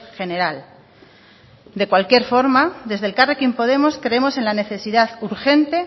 general de cualquier forma desde elkarrekin podemos creemos en la necesidad urgente